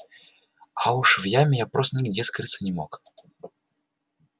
а уж в яме я просто нигде скрыться не мог